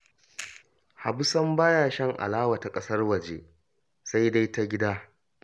Habu sam ba ya shan alawa ta ƙasar waje sai dai ta gida